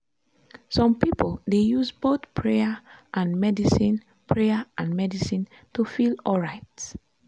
some people dey use both prayer and medicine prayer and medicine to feel alright.